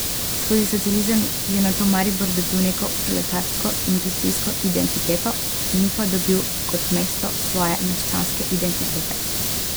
Skozi socializem je nato Maribor dobil neko proletarsko industrijsko identiteto, ni pa dobil kot mesto svoje meščanske identitete.